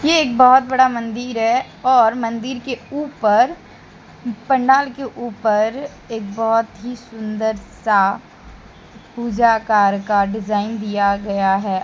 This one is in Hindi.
ये एक बहोत बड़ा मंदिर है और मंदिर के ऊपर पंडाल के ऊपर एक बहोत ही सुंदर सा पूजा अकार का डिजाइन दिया गया है।